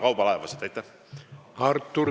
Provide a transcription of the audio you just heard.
Artur Talvik, palun!